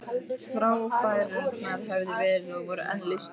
Fráfærurnar höfðu verið og voru enn lífsnauðsyn.